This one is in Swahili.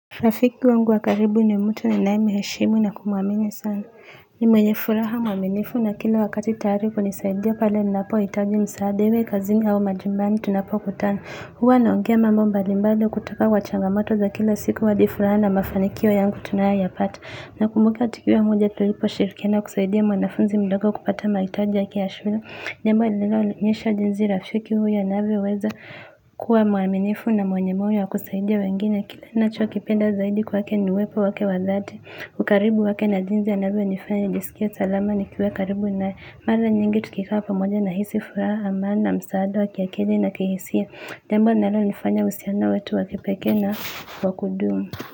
Rafiki wangu wa karibu ni mtu ninayemheshimu na kumwamini sana ni mwenye furaha mwaminifu na kila wakati tayari kunisaidia pale ninapohitaji msaada iwe kazini au majumbani tunapokutana huwa naongea mambo mbalimbali kutoka kwa changamato za kila siku hadi furaha na mafanikio yangu tunayoyapata. Nakumbuka tukio moja tuliposhirikiana kusaidia mwanafunzi mdogo kupata mahitaji yake ya shule. Jambo linaloonyesha jinsi rafiki huyo anavyoweza kuwa mwaminifu na mwenye moyo wa kusaidia wengine kile ninachokipenda zaidi kwake ni wepo wake wa dhati ukaribu wake na jinsi anavyonifanya nisikie salama nikiwa karibu naye mara nyingi tukikaa pamoja nahisi furaha amani, na msaada, wa kiakili na kihisia. Jambo linalo nifanya uhusiano wetu wa kipekee na wakudumu.